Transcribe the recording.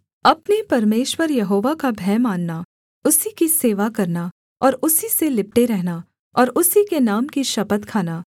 अपने परमेश्वर यहोवा का भय मानना उसी की सेवा करना और उसी से लिपटे रहना और उसी के नाम की शपथ खाना